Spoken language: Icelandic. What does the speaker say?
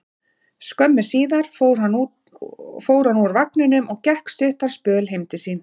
Skömmu síðar fór hann úr vagninum og gekk stuttan spöl heim til sín.